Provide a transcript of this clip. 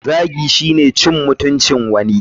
Zagi shine cin mutuncin wani.